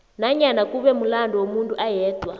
nanyana kube mulando womuntu ayedwa